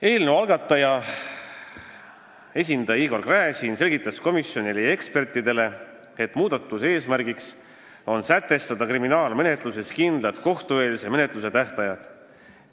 Eelnõu algataja esindaja Igor Gräzin selgitas komisjonile ja ekspertidele, et muudatuse eesmärk on sätestada kindlad kohtueelse menetluse tähtajad kriminaalmenetluses.